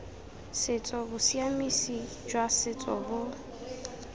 setso bosiamisi jwa setso bo